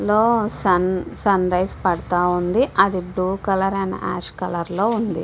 ఇందులో sunrise పడుతా ఉంది అది బ్లూ అండ్ యాష్ కలర్ లో ఉంది.